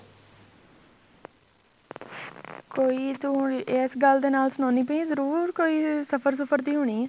ਕੋਈ ਤੂੰ ਇਸ ਗੱਲ ਨਾਲ ਸੁਣਾਦੀ ਪਈ ਏ ਜਰੂਰ ਕੋਈ ਸਫ਼ਰ ਸੁਫ਼ਰ ਦੀ ਹੋਣੀ